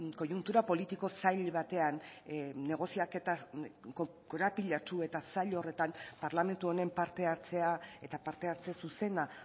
koiuntura politiko zail batean negoziaketa korapilatsu eta zail horretan parlamentu honen parte hartzea eta parte hartze zuzena